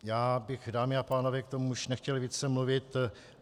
Já bych, dámy a pánové, k tomu už nechtěl více mluvit.